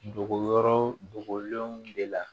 Dogoyɔrɔ dogolenw de la